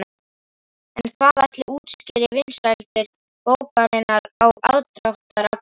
En hvað ætli útskýri vinsældir bókarinnar og aðdráttarafl Gísla?